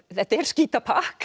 þetta er skítapakk